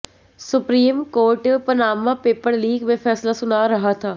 supreme Court Panama paper leak में फैसला सुना रहा था